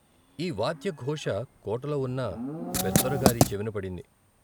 ఈ వాద్యఘోష కోటలో ఉన్న పెద్దోరగారి చెవిన పడింది.